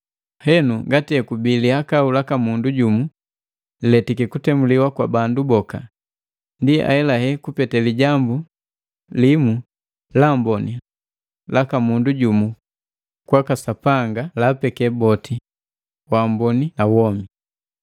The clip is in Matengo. Henu ngati hekubi lihakau laka mundu jumu liletiki kutemuliwa kwa bandu boka ndi ahelahe kupete lijambu limu laamboni laka mundu jumu kwaka Sapanga laapeke boti waamboni na womi.